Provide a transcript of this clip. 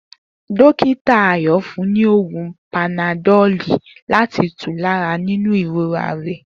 Dokita ayo fún ni oògùn panadoli láti tù lára nínú ìrora rè